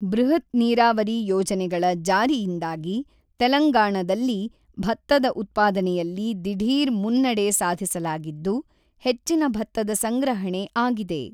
ಬೃಹತ್ ನೀರಾವರಿ ಯೋಜನೆಗಳ ಜಾರಿಯಿಂದಾಗಿ ತೆಲಂಗಾಣದಲ್ಲಿ ಭತ್ತದ ಉತ್ಪಾದನೆಯಲ್ಲಿ ದಿಢೀರ್ ಮುನ್ನಡೆ ಸಾಧಿಸಲಾಗಿದ್ದು ಹೆಚ್ಚಿನ ಭತ್ತದ ಸಂಗ್ರಹಣೆ ಆಗಿದೆ.